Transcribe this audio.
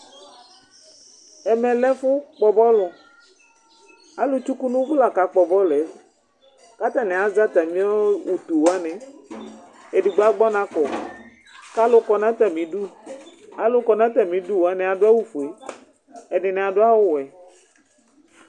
ɛmɛ lɛ ɛfu kpɔ bɔlu, alu tsuku nu uvu la ka kpɔ bɔluɛ , ku ata ni azɛ ata mi utu wʋani edigbo agbɔ ɔna kɔ , ku alu kɔ nu ata mídu, alu kɔ nu ata mi du wʋani adu awu fue, ɛdini adu awu wɛ